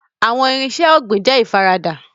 Farming tools are affordable